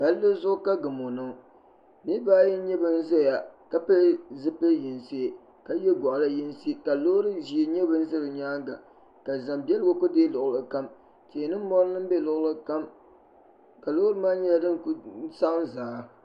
pali zuɣ' ka gamo niŋ niribaayi n nyɛ ban ʒɛya la pɛli zibili yinisi ka yɛ goɣ' yɛ yinisi lori ʒiɛ nyɛ di ʒɛ be nyɛŋa ka zam bɛligu kuli dɛi lugilikam tihi ni mori lan bɛ luɣili kam ka lori maa kuli nyɛ din sagim zaa